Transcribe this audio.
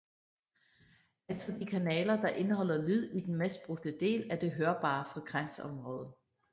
Altså de kanaler der indeholder lyd i den mest brugte del af det hørbare frekvensområde